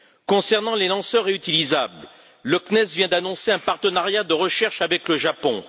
Concernant les lanceurs réutilisables, le CNES vient d'annoncer un partenariat de recherche avec le Japon.